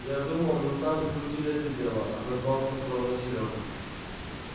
я думал ментам прикрутили это дело отозвался осторожно серёга